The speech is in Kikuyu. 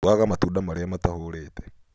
Tĩaga matunda marĩa matahũrĩte